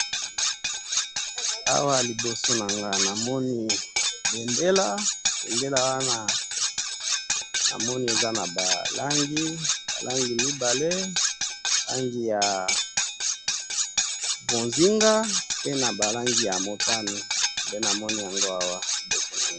awa liboso na nga namoni bendela bendela wana namoni eza naba langi ba langi mibale ,langi ya mbozinga pe naba langi ya motani nde namoni yango awa liboso nanga.